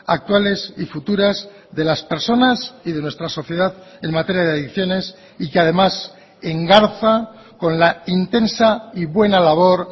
actuales y futuras de las personas y de nuestra sociedad en materia de adicciones y que además engarza con la intensa y buena labor